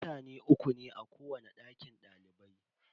Mutane uku ne a kowani dakin dalibai.